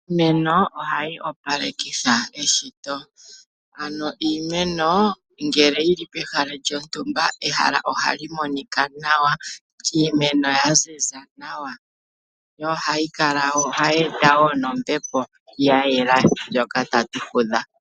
Iimeno ohayi opalekitha eshito. Año iimeno ngele yi li pehala lyontumba, ehala ohali monika nawa, iimeno yaziza nawa. Yo ohayi e ta wo nombepo ya yelà ndjoka tatu fudha.